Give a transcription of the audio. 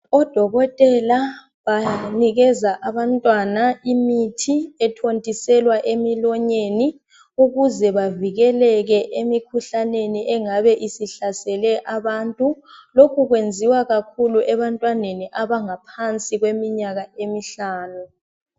Odokotela banikeza abantwana imithi ethontiselwa emilonyeni ukuze bavikeleke emikhuhlaneni engabe isihlasele abantu lokhu kwenziwa kakhulu ebantwaneni abangaphansi kweminyaka emihlanu